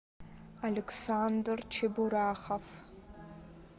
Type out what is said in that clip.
александр чебурахов